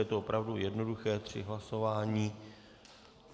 Je to opravdu jednoduché, tři hlasování.